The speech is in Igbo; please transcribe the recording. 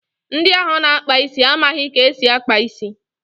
Ndị ahụ na-akpa isi amaghị ka esi akpa isi.